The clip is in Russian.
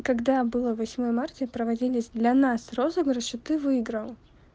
когда было восьмое марта и проводились для нас розыгрыши ты выиграл